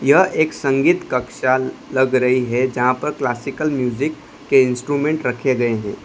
यह एक संगीत कक्षा लग रही हैं जहां पर क्लासिकल म्यूजिक के इंस्ट्रुमेंट रखे गए है।